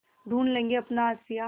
ढूँढ लेंगे अपना आशियाँ